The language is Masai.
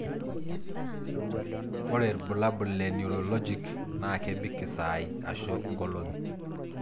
Ore bulabul le Neurologic naa kebik isaai ashu ngolongi.